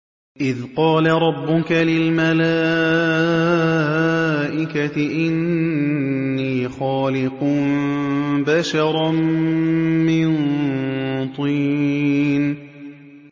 إِذْ قَالَ رَبُّكَ لِلْمَلَائِكَةِ إِنِّي خَالِقٌ بَشَرًا مِّن طِينٍ